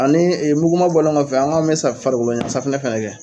Ani muguma bɔlen kɔfɛ an ko an bɛ sa farikolo safinɛ fɛnɛ kɛ.